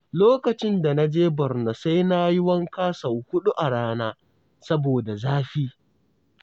Lokacin da na je Borno sai na yi wanka sau huɗu a rana, saboda zafi.